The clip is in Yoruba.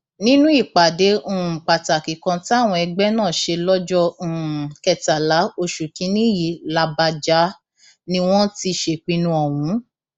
nínú ìpàdé um pàtàkì kan táwọn ẹgbẹ náà ṣe lọjọ um kẹtàlá oṣù kìínní yìí làbàjá ni wọn ti ṣèpinnu ọhún